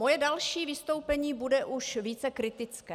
Moje další vystoupení bude už více kritické.